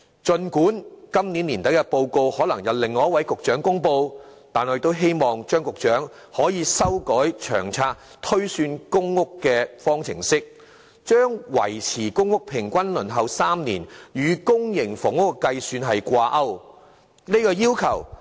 儘管今年年底的報告可能由另一位局長公布，但我亦希望張局長可以修改《長遠房屋策略》推算公屋供應數量的方程式，將"維持公屋平均輪候3年"的原則與公營房屋的計算掛鈎。